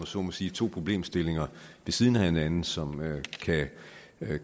så må sige to problemstillinger ved siden af hinanden som